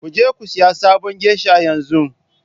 Ku je ku sayi sabon geiisha yanzu!